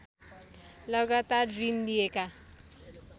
लगातार ऋण लिएका